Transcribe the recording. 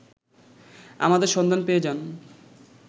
আমাদের সন্ধান পেয়ে যান